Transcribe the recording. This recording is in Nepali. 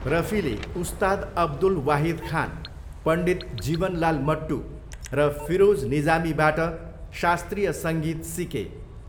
रफीले उस्ताद अब्दुल वाहिद खान, पण्डित जीवन लाल मट्टु र फिरोज निजामीबाट शास्त्रीय सङ्गीत सिके।